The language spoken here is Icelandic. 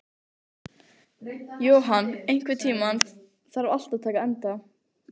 Johan, einhvern tímann þarf allt að taka enda.